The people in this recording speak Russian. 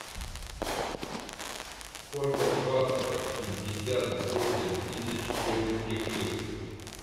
сколько в баксах пятьдесят восемь тысяч турецких лир